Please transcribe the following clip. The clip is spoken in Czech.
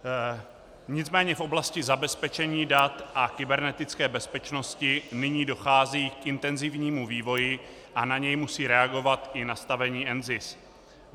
Nicméně v oblasti zabezpečení dat a kybernetické bezpečnosti nyní dochází k intenzivnímu vývoji a na něj musí reagovat i nastavení NZIS.